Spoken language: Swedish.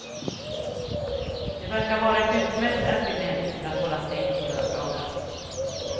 Det verkar vara ett utmärkt argument för att hålla stängt på lördagar.